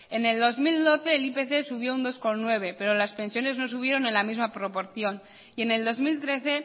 en el dos mil doce el ipc subió dos coma nueve por ciento pero las pensiones no subieron en la misma proporción y en el dos mil trece